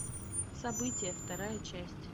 события вторая часть